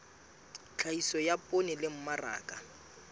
tlhahiso ya poone le mmaraka